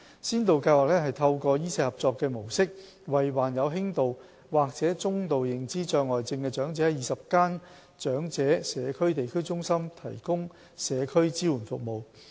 先導計劃透過"醫社合作"模式，為患有輕度或中度認知障礙症的長者於20間長者地區中心提供社區支援服務。